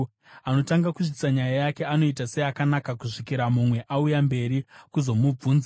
Anotanga kusvitsa nyaya yake anoita seakanaka, kusvikira mumwe auya mberi kuzomubvunza.